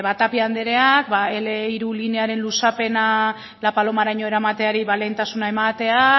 tapia andereak berrogeita hamar hiru linearen luzapena la palomaraino eramateari ba lehentasuna emate